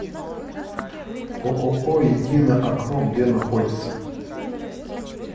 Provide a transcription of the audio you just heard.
ооо единое окно где находится